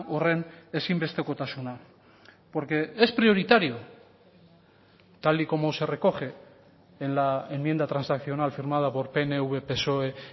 horren ezinbestekotasuna porque es prioritario tal y como se recoge en la enmienda transaccional firmada por pnv psoe